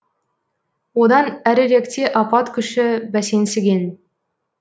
одан әріректе апат күші бәсеңсіген